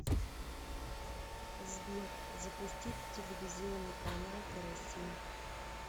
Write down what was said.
сбер запустить телевизионный канал карусель